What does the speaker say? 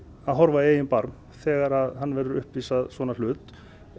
að horfa í eigin barm þegar hann verði uppvís að svona hlut